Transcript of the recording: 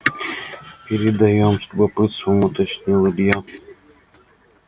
передаём с любопытством уточнил илья